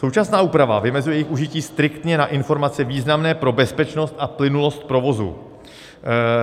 Současná úprava vymezuje jejich užití striktně na informace významné pro bezpečnost a plynulost provozu.